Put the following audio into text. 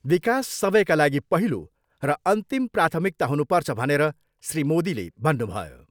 विकास सबैका लागि पहिलो र अन्तिम प्राथमिकता हुनुपर्छ भनेर श्री मोदीले भन्नुभयो।